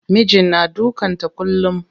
Mijin na dukan ta kullum.